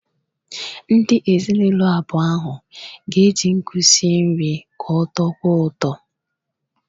Ndị ezinụlọ abụọ ahụ ga-eji nkụ esi nri ka ọ tọkwuo ụtọ.